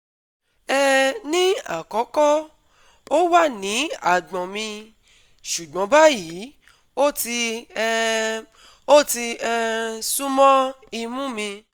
um Ní àkọ́kọ́, ó wà ní àgbọ̀n mi, ṣùgbọ́n báyìí ó ti um ó ti um sún mọ́ imú mi